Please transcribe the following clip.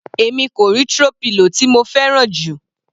Èmi kò rí throw pillow tí mo fẹ́ràn jù.